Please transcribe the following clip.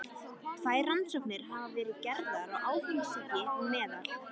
Tvær rannsóknir hafa verið gerðar á áfengissýki meðal